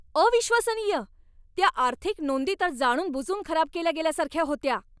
अविश्वसनीय! त्या आर्थिक नोंदी तर जाणूनबुजून खराब केल्या गेल्यासारख्या होत्या!